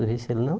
Mas esse ele não